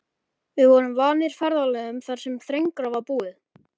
Við vorum vanir ferðalögum þar sem þrengra var búið.